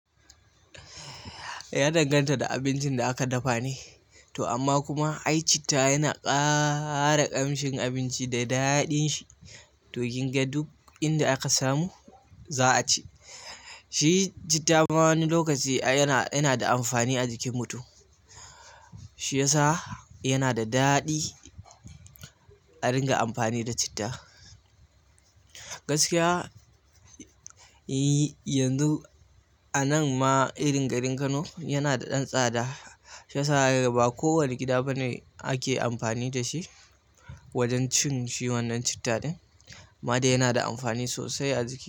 Ya danganta da abincin da aka dafa ne, amma kuma ai citta yana ƙara ƙamshin abinci da daɗin shi, to kinga duk inda aka samu za a ci. Shi citta ma wani lokaci yana da amfani a jikin mutum. Shiyasa yana da daɗi a ringa anfani da citta. Gaskiya, yanzu a nan ma irin garin Kano yana da ɗan tsada. Shiyasa ba kowane gida bane ake amfani da shi wajen cin shi wannan citta din. Amma dai yana da amfani sosai a jiki.